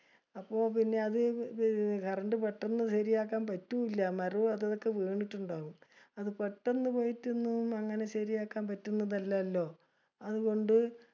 അപ്പൊ പിന്നെ അത് ത് current പെട്ടന്ന് ശെരിയാകാൻ പറ്റൂല. മരോം അതുംഇതൊക്കെ വീണിട്ടുണ്ടാവും. അത് പെട്ടന്ന് പോയിട്ട്‌ ഒന്നും അങ്ങിനെ ശെരിയാകാൻ പറ്റുന്നതല്ലലോ. അതുകൊണ്ട്